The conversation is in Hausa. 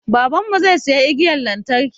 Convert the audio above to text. Baban mu zai siya igiyan lantarki